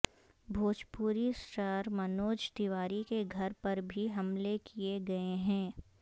Bhojpuri star Manoj Tiwari کے گھر پر بھی حملے کیے گیے ہیں